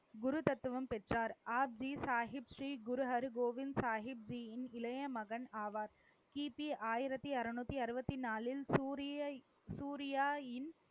குரு தத்துவம் பெற்றார். ஆ ஹிப் சாஹிப்ஜி குரு ஹர் கோவிந்த் சாஹிப்ஜியின் இளைய மகன் ஆவார். கிபி ஆயிரத்தி அறுநூத்தி அறுபத்தி நாளில், சூரிய சூரியா இன்